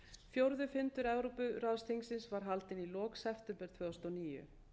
fjórði fundur evrópuráðsþingsins var haldinn í lok september tvö þúsund og níu